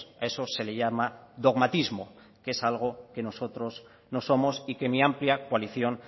a eso se le llama dogmatismo que es algo que nosotros no somos y que mi amplia coalición